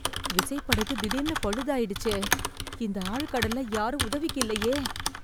விசைப் படகு திடீர்னு பழுதாய்டுச்சே... இந்த ஆழ்கடல்ல யாரும் உதவிக்கு இல்லயே...